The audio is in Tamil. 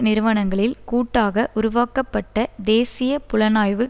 நிறுவனங்களில் கூட்டாக உருவாக்கப்பட்ட தேசிய புலனாய்வு